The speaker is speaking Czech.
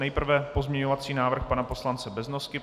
Nejprve pozměňovací návrh pana poslance Beznosky.